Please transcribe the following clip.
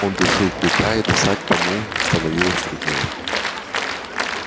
он душил клыка и дышать тому становилось труднее